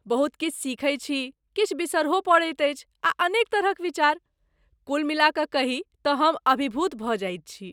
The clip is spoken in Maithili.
बहुत किछु सिखैत छी, किछु बिसरहो पड़ैत अछि आ अनेक तरहक विचार, कुल मिला कऽ कही तँ हम अभिभूत भऽ जाइत छी।